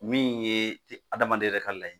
Min ye adamaden yɛrɛ ka laɲini ye